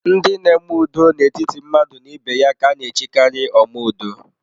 Ndị n'eme ụdọ n'etiti mmadụ na ibe ya ka a na-echikari omeudo